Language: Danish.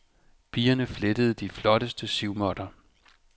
Pigerne flettede de flotteste sivmåtter.